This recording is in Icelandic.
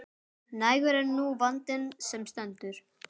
Nægur er nú vandinn sem stendur.